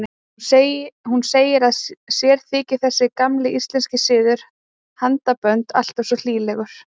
Hún segir að sér þyki þessi gamli íslenski siður, handabönd, alltaf svo hlýlegur.